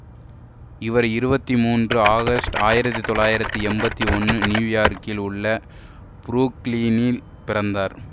இவர் இருபத்தி மூன்று ஆகஸ்ட் ஆயிரத்தி தொள்ளாயிரத்தி எம்பத்தி ஒன்னு நியூயார்க்கில் உள்ள புரூக்ளினில் பிறந்தார்